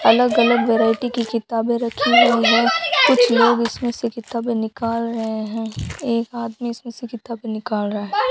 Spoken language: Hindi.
अलग अलग वैरायटी की किताबें रखी हुई हैं कुछ लोग इसमें से किताबें निकाल रहे हैं एक आदमी इसमें से किताबें निकाल रहा है।